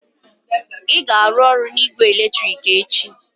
Ị ga-arụ ọrụ na igbe eletrik echi?